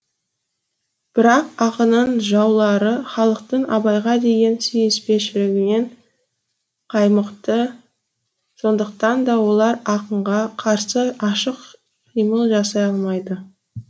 бірақ ақынның жаулары халықтың абайға деген сүйіспеншілігінен қаймықты сондықтан да олар акынға қарсы ашық қимыл жасай алмайды